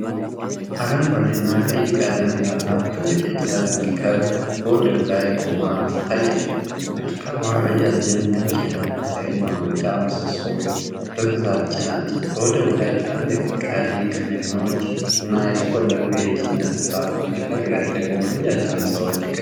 አረንጓዴ እና ቀይ ቀለም ያላት ትልቅ የጭነት መርከብ በወደብ ላይ ቆማ ትታያለች። መርከቧ ረዣዥም ነጭ የነፋስ ኃይል ማመንጫ ምሰሶዎችን በብዛት ጭናለች። በወደቡ ላይ ትላልቅ ቀይ ክሬኖች እና የተቆለሉ የጭነት ሳጥኖች፣ በርቀት ደግሞ ረጃጅም ሕንጻዎች ይገኛሉ።